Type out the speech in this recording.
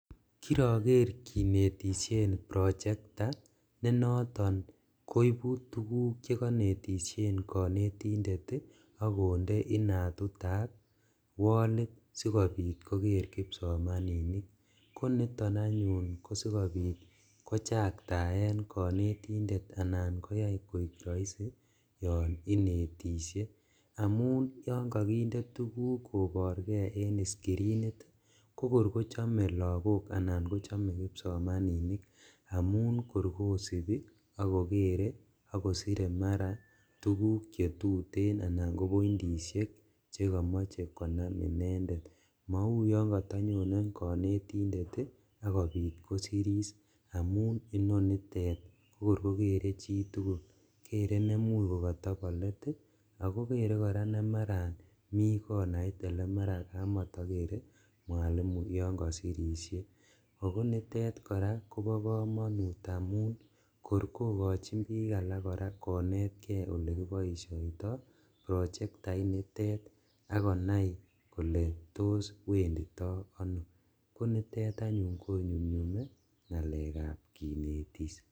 Kirager kinetisien prochekta ne noton koibu tuguk che konetisien konetindet ak konde inatutab wolit sigopit koger kipsomaninik koniton anyun ko sigopit kochaktaen konetindet anan konyai koek raisi yon inetisye amun yon kakinde tuguk koborge en skirinit, kokor kochame lagok anan kochame kipsomaninik amun kor kosipi ak kogere ak kosire mara tuguk che tuten anan ko marakopointisiek che kimoche konam inendet. Mauyon katanyone kanetindet ak kopit kosiris amun inonitet kokor kogere chitugul. Kere nemuch kokatobon let ago kere kora nemarami konait olemaraat kamatagere mwalimuyon kasirisie. Ogonitet kora koba kamanut amun kor kokachin biik alak konetke olekiboisioito prochektait nitet ak konai kole tos wendito ano. Konitet anyun konyumnyume ngalekab kinetis.